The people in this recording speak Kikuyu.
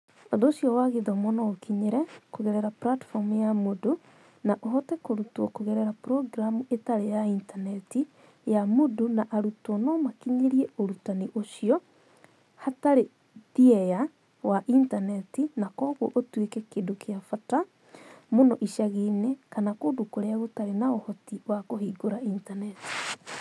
Ũhoro ũcio wa gĩthomo no ũũkinyĩre kũgerera platform ya Moodle, na ũhote kũrutwo kũgerera programu ĩtarĩ ya intaneti ya Moodle na arutwo no makinyĩre ũrutani ũcio hatarĩ thieya wa intaneti na kwoguo ũtuĩke kĩndũ kĩa bata mũnoicagi-inĩ kana kũndũ kũrĩa gũtarĩ na ũhoti wa kũhingũra intaneti.